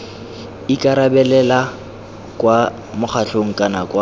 ikarabelela kwa mokgatlhong kana kwa